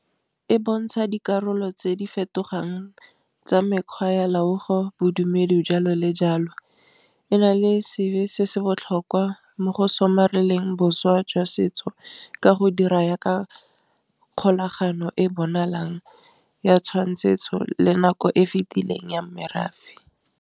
E bontsha dikarolo tse di fetogang tsa mekgwa ya loago bodumedi jalo le jalo, e na le seabe se se botlhokwa mo go somarela leng boswa jwa setso ka go dira yaka kgolagano e bonalang ya tshwanetso le nako e fitileng ya merafe.